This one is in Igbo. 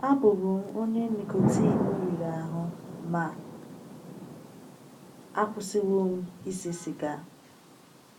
Abụbu m onye nicotin riri ahụ, ma akwụsịwo m ise siga.